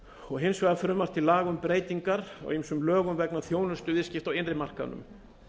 og hins vegar frumvarp til laga um breytingar á ýmsum lögum vegna þjónustuviðskipta á innri markaðnum